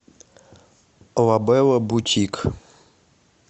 лабелла бутик